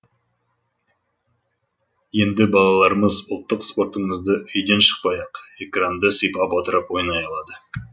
енді балаларымыз ұлттық спортымызды үйден шықпай ақ экранды сипап отырып ойнай алады